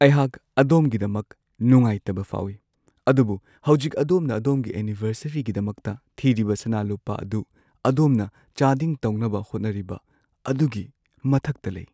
ꯑꯩꯍꯥꯛ ꯑꯗꯣꯝꯒꯤꯗꯃꯛ ꯅꯨꯡꯉꯥꯏꯇꯕ ꯐꯥꯎꯏ, ꯑꯗꯨꯕꯨ ꯍꯧꯖꯤꯛ ꯑꯗꯣꯝꯅ ꯑꯗꯣꯝꯒꯤ ꯑꯦꯅꯤꯚꯔꯁꯔꯤꯒꯤꯗꯃꯛꯇ ꯊꯤꯔꯤꯕ ꯁꯅꯥ-ꯂꯨꯄꯥ ꯑꯗꯨ ꯑꯗꯣꯝꯅ ꯆꯥꯗꯤꯡ ꯇꯧꯅꯕ ꯍꯣꯠꯅꯔꯤꯕ ꯑꯗꯨꯒꯤ ꯃꯊꯛꯇ ꯂꯩ꯫